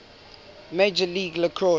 major league lacrosse